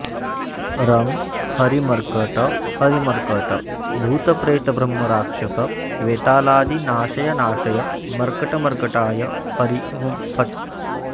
रं हरिमर्कट हरिमर्कट भूतप्रेतब्रह्मराक्षसवेतालादि नाशय नाशय मर्कटमर्कटाय हरि हूं फट्